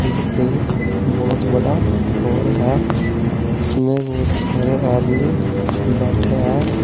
ये एक बहुत बड़ा हाल है इसमें बहुत सारे आदमी बैठे हैं।